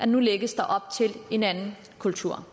nu lægges op til en anden kultur